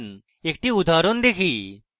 একটি উদাহরণ দেখি